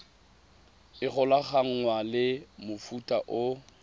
e golaganngwang le mofuta o